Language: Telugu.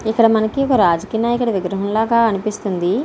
ఇక్కడ మనకి ఒక రాజకీయ నాయకుని విగ్రహం లాగా అనిపిస్తుంది.